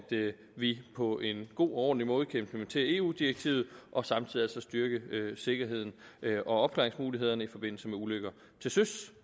vi på en god og ordentlig måde kan implementere eu direktivet og samtidig styrke sikkerheden og opklaringsmulighederne i forbindelse med ulykker til søs